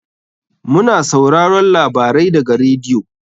Mu na sauraron labarai daga radiyo.